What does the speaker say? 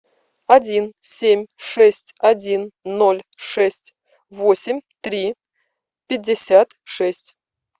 один семь шесть один ноль шесть восемь три пятьдесят шесть